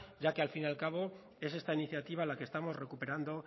ya que al fin y al cabo es esta iniciativa la que estamos recuperando